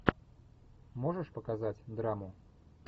можешь показать драму